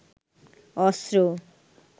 অস্ত্র